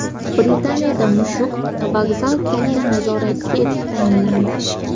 Britaniyada mushuk vokzal katta nazoratchisi etib tayinlandi.